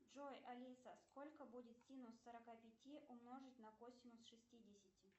джой алиса сколько будет синус сорока пяти умножить на косинус шестидесяти